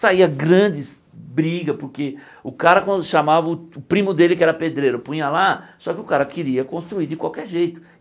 Saía grandes brigas, porque o cara quando chamava o primo dele que era pedreiro, punha lá, só que o cara queria construir de qualquer jeito.